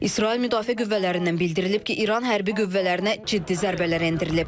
İsrail Müdafiə qüvvələrindən bildirilib ki, İran hərbi qüvvələrinə ciddi zərbələr endirilib.